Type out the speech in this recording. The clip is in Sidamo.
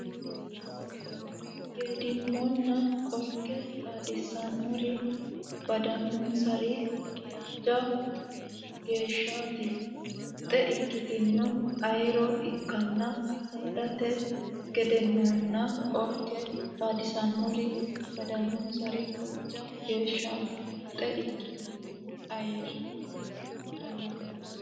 Geedimonna Qorke Xaadisannori Badannonsari hojja geeshshaati muxxe ikkitino ayirro ikkanno saadati Geedimonna Qorke Xaadisannori Badannonsari hojja geeshshaati muxxe ikkitino ayirro.